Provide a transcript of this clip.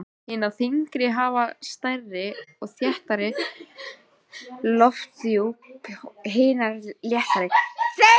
Hinar þyngri hafa stærri og þéttari lofthjúp en hinar léttari.